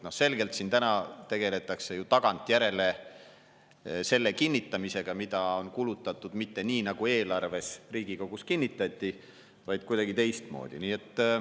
Selgelt tegeldakse siin täna ju tagantjärele selle kinnitamisega, kuidas on kulutatud, mitte nii, nagu Riigikogus kinnitatud eelarves on, vaid kuidagi teistmoodi.